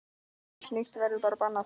Allt slíkt verður nú bannað.